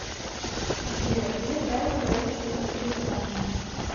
сбер где правит правительство великобритании